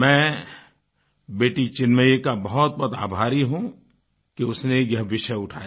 मैं बेटी चिन्मयी का बहुत बहुत आभारी हूँ कि उसने यह विषय उठाया